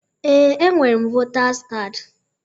Ee, enwere m Votaz kaadi